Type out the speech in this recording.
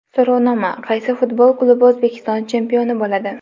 So‘rovnoma: Qaysi futbol klubi O‘zbekiston chempioni bo‘ladi?.